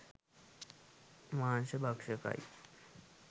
මාංශ භක්ෂකයි.